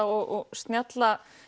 og snjalla